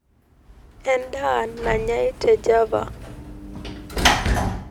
edaa nanyai te java